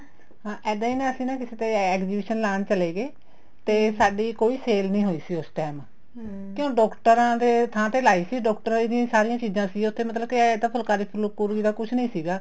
ਹਾਂ ਇੱਦਾਂ ਹੀ ਨਾ ਅਸੀਂ ਕਿਸੇ ਦੇ exhibition ਲਾਣ ਚੱਲੇ ਗਏ ਤੇ ਸਾਡੀ ਕੋਈ sale ਨਹੀਂ ਹੋਈ ਸੀ ਉਸ time ਕਿਉ ਡਾਕਟਰਾਂ ਦੇ ਥਾਂ ਤੇ ਲਾਈ ਸੀ ਡੋਕਟਰਾਂ ਦੀਆ ਸਾਰੀਆਂ ਚੀਜ਼ਾਂ ਸੀ ਉੱਥੇ ਮਤਲਬ ਕੇ ਇਹ ਫਲਕਾਰੀ ਫੁੱਲਕਾਰੀ ਦਾ ਕੁੱਛ ਨਹੀਂ ਸੀਗਾ